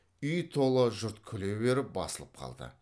үй тола жұрт күле беріп басылып қалды